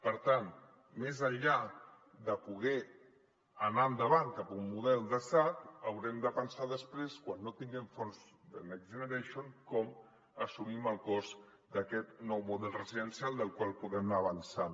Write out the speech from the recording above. per tant més enllà de poder anar endavant cap a un model de sad haurem de pensar després quan no tinguem fons de next generation com assumim el cost d’aquest nou model residen·cial amb el qual podem anar avançant